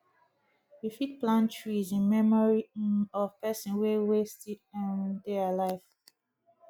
you fit plant trees in memory um of person wey wey still um dey alive